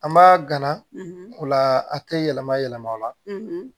An b'a gana o la a te yɛlɛma yɛlɛma o la